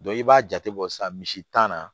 i b'a jate bɔ sisan misi tan na